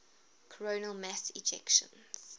coronal mass ejections